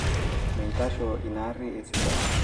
mitasho ina arri esidai